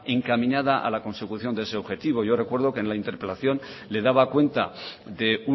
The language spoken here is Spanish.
encaminada a la consecución de ese objetivo yo recuerdo que en la interpelación le daba cuenta de